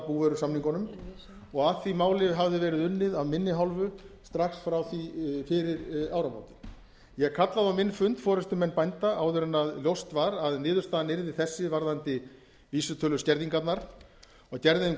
búvörusamningunum og að því máli hafði verið unnið af minni hálfu strax frá því fyrir áramót ég kallaði á minn fund forustumenn bænda áður en ljóst var að niðurstaðan yrði þessi varðandi vísitöluskerðingarnar og gerði þeim